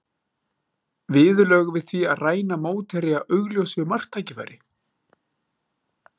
Viðurlög við því að ræna mótherja augljósu marktækifæri?